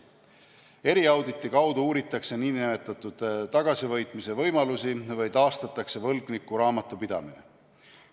Eriauditi kaudu uuritakse nn tagasivõitmise võimalusi või taastatakse võlgniku raamatupidamine.